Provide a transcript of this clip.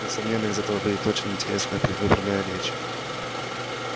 несомненно из этого выйдет очень интересная предвыборная речь